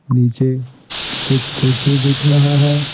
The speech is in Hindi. नीचे कुछ कुर्सी दिख रहा है।